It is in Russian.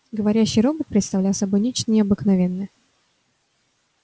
говорящий робот представлял собой нечто необыкновенное